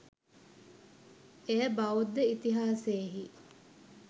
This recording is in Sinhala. එය බෞද්ධ ඉතිහාසයෙහි